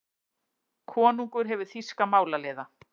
Konungur hefur þýska málaliða.